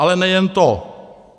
Ale nejen to.